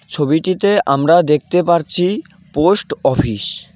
ছবিটিতে আমরা দেখতে পারছি পোস্ট অফিস ।